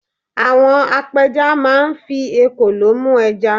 àwọn apẹja ma n fi ekòló mu eja